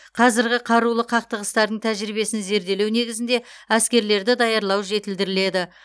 қазіргі қарулы қақтығыстардың тәжірибесін зерделеу негізінде әскерлерді даярлау жетілдіріледі